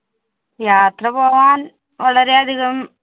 യാത്ര പോകാൻ വളരെ അധികം